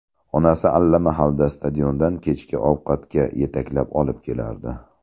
Onasi allamahalda stadiondan kechki ovqatga yetaklab olib kelardi.